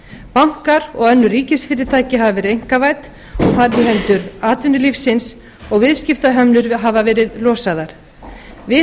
bankar og önnur ríkisfyrirtæki hafa verið einkavædd og færð í hendur atvinnulífsins og viðskiptahömlur hafa verið losaðar við